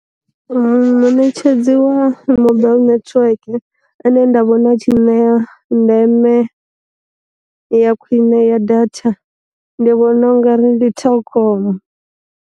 Muṋetshedzi wa mobile network ane nda vhona a tshi nṋea ndeme ya khwine ya datha, ndi vhona ungari ndi telkom.